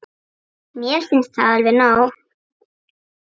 Mér finnst það alveg nóg.